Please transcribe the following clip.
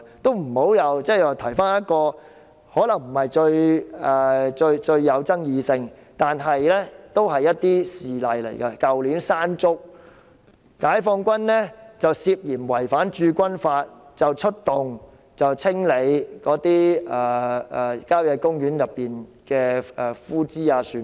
就此，我想提一個可能不是最具爭議性的一宗事例：去年山竹襲港時，解放軍涉嫌違反《駐軍法》，出動清理郊野公園內的枯枝、樹木等。